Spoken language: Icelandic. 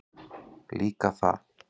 Líka það.